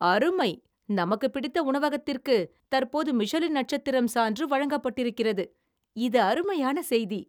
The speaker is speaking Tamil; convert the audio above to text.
அருமை !நம‌க்கு பிடித்த உணவகத்திற்கு தற்போது மிஷலின் நட்சத்திரம் சான்று வழங்கப்பட்டிருக்கிறது! இது அருமையான செய்தி